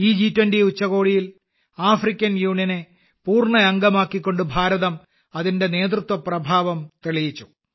ഈ ജി20 ഉച്ചകോടിയിൽ ആഫ്രിക്കൻ യൂണിയനെ പൂർണമായി പൂർണ അംഗമാക്കിക്കൊണ്ട് ഇന്ത്യ അതിന്റെ നേതൃത്വ പ്രഭാവം തെളിയിച്ചു